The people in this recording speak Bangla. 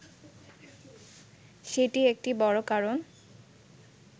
সেটি একটি বড় কারণ